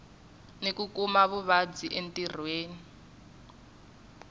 ni ku kuma vuvabyi entirhweni